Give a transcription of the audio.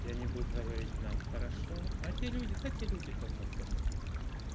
и они будут говорить нам хорошо а те люди а те люди давно померли